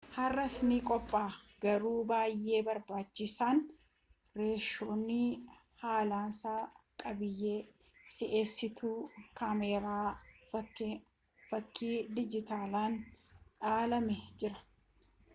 har'as ni qophaa'a garuu baayyee barbaachisaan reeshoon haalasaa qabiyyee si'eessituu kaameeraa fakkii dijitaalaan dhaalamee jira